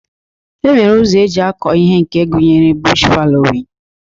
E nwere ụzọ eji akọ ihe nke gụnyere bush falowin